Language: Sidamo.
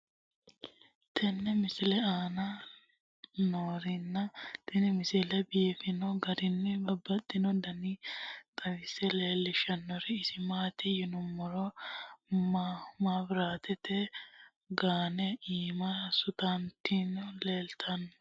tenne misile aana noorina tini misile biiffanno garinni babaxxinno daniinni xawisse leelishanori isi maati yinummoro mabiraattete gaanne iimma suntoonitti leelittanno.